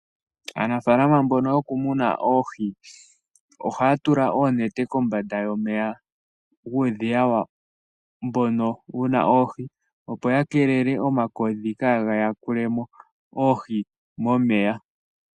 Aanafaalama mboka yokumuna oohii ohaya tula oonete kombanda yomeya guudhiya wawo moka muna oohi, opo ya kelele omakodhi ka ga yakule mo oohi momeya.